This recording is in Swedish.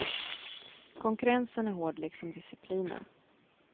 Konkurrensen är hård, liksom disciplinen.